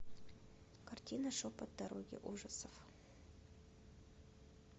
картина шепот дороги ужасов